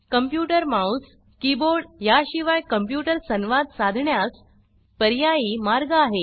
computer mouse keyboard याशिवाय computer संवाद साधण्यास पर्यायी मार्ग आहे